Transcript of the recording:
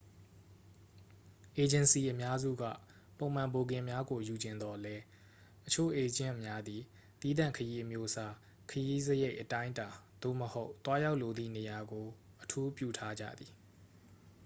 အေဂျင်စီအများစုက ပုံမှန်ဘိုကင်များကိုယူချင်သော်လဲ အချို့အေးဂျင့်များသည် သီးသန့်ခရီးအမျိုးအစား ခရီးစရိတ် အတိုင်းအတာသို့မဟုတ် သွားရောက်လိုသည့်နေရာကို အထူးပြုထားကြသည်